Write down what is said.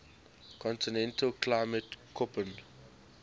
continental climate koppen